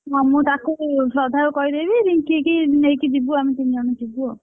ହଁ ମୁଁ ତାକୁ ଶ୍ରଦ୍ଧାକୁ କହିଦେବି, ରିଙ୍କି କି ନେଇକି ଯିବୁ ଆମେ ତିନି ଜଣ ଯିବୁ ଆଉ,